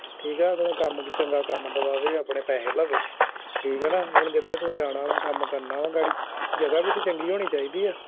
ਠੀਕ ਆ ਨਾ ਆ ਅਗਲਾ ਚੰਗਾ ਕੰਮ ਦਵਾਵੈ ਆਪਣੇ ਪੈਹੇ ਲਵੇ ਠੀਕ ਆ ਨਾ ਹੁਣ ਜਿਥੇ ਤੂੰ ਜਾਣਾ ਵਾ ਕੰਮ ਕਰਨਾ ਵਾ ਗਾੜੀ ਜਗਾਹ ਵੀ ਤੇ ਚੰਗੀ ਹੋਣੀ ਚਾਹੀਦੀ ਆ